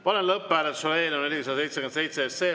Panen lõpphääletusele eelnõu 477.